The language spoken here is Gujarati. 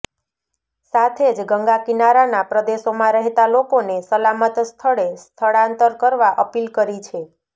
સાથે જ ગંગાકિનારાના પ્રદેશોમાં રહેતા લોકોને સલામત સ્થળે સ્થળાંતર કરવા અપીલ કરી છે